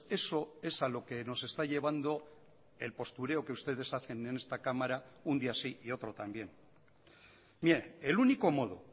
eso es a lo que nos está llevando el postureo que ustedes hacen en esta cámara un día sí y otro también mire el único modo